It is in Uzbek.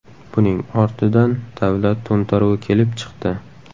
Buning ortidan davlat to‘ntaruvi kelib chiqdi.